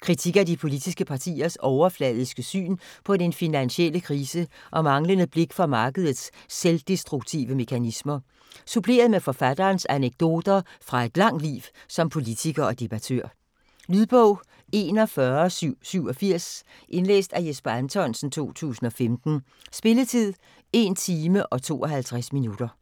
Kritik af de politiske partiers overfladiske syn på den finansielle krise og manglende blik for markedets selvdestruktive mekanismer, suppleret med forfatterens anekdoter fra et langt liv som politiker og debattør. Lydbog 41787 Indlæst af Jesper Anthonsen, 2015. Spilletid: 1 timer, 52 minutter.